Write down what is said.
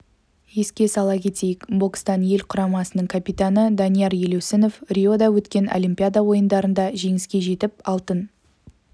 еске сала кетейік бокстан ел құрамасының капитаны данияр елеусінов риода өткен олимпиада ойындарында жеңіске жетіп алтын